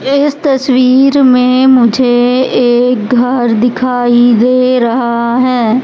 इस तस्वीर में मुझे एक घर दिखाई दे रहा है।